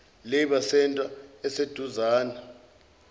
labour centre esiseduzane